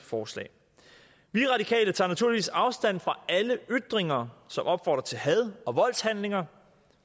forslag vi radikale tager naturligvis afstand fra alle ytringer som opfordrer til had og voldshandlinger